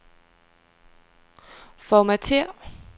Formatér.